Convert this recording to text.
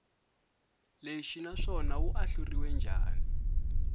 lexi naswona wu ahluriwe njhani